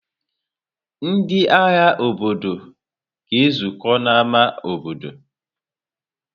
Ndị ahịa obodo ga-ezukọ n'ámá obodo.